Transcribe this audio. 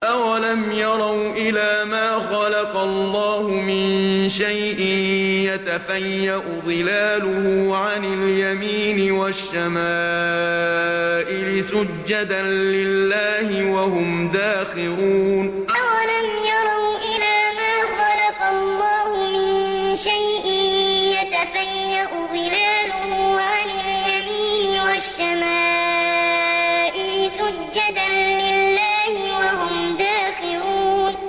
أَوَلَمْ يَرَوْا إِلَىٰ مَا خَلَقَ اللَّهُ مِن شَيْءٍ يَتَفَيَّأُ ظِلَالُهُ عَنِ الْيَمِينِ وَالشَّمَائِلِ سُجَّدًا لِّلَّهِ وَهُمْ دَاخِرُونَ أَوَلَمْ يَرَوْا إِلَىٰ مَا خَلَقَ اللَّهُ مِن شَيْءٍ يَتَفَيَّأُ ظِلَالُهُ عَنِ الْيَمِينِ وَالشَّمَائِلِ سُجَّدًا لِّلَّهِ وَهُمْ دَاخِرُونَ